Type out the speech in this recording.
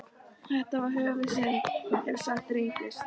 Þetta var höfuðsynd, ef satt reyndist.